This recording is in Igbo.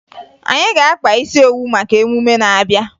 Anyị ga-akpa isi owu maka emume na-abịa